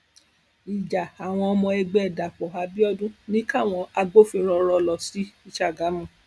ìjà àwọn ọmọ ẹgbẹ dapò abiodun ni káwọn agbófinró rọ lọ sí sàgámù